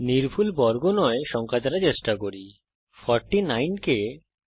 এখন একটি সংখ্যা দ্বারা চেষ্টা করি যা একটি নির্ভুল বর্গ নয়